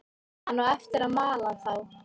Hann á eftir að mala þá.